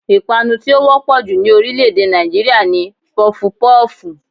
Ìpanu tí ó wọ́pọ̀ jù ní orílẹ̀ èdè Nàìjíríà ni Pọfupọ́ọ̀fù